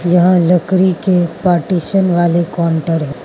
यह लकड़ी के पार्टीशन वाले काउंटर है।